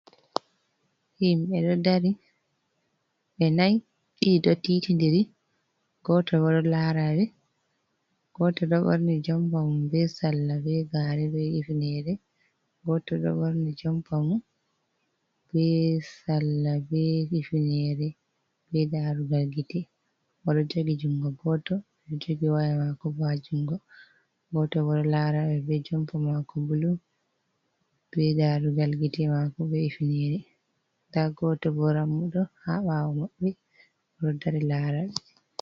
Himɓe ɗo dari, ɓe nayo, ɗiɗo ɗo titindiri, goto bo ɗo lara ɓe, goto ɗo ɓorni jompa mum be sarla be gaare be hifnere, goto ɗo ɓorni jompa mum be sarla be hifnere be daarougal gite, oɗo jogi jungo goto, oɗo jogi woya maako bo ha jungo, goto ɗo lara ɓe, be jompa maako bulu, be daarougal gite maako be hifnere, nda goto bo dammuɗo ha ɓawo maɓɓe, oɗo dari laara ɓe.